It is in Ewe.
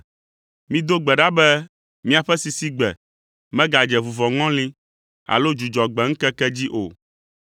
Mido gbe ɖa be miaƒe sisigbe megadze vuvɔŋɔli alo Dzudzɔgbe ŋkeke dzi o.